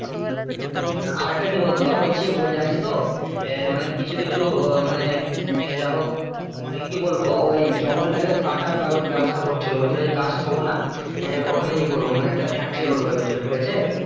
হ্যাঁ আর একটা কি বলতো বলছে ওই জানিস তো আহ মানে কিছু কিছু এ যা হোক মানে কি বলবো ওই জঙ্গলটাকে কাটার ব্যাবস্থা করছিলো বলছিলো গাছ থব না এ ওখানে ই করবো মানে একটা factory করবো বলছিলো ঠিক আছে,